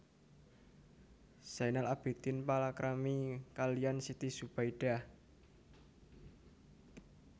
Zainal Abidin palakrami kaliyan Siti Zubaidah